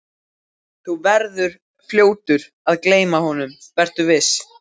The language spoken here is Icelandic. Þú verður fljótur að gleyma honum, vertu viss.